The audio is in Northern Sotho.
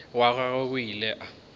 wa gagwe o ile wa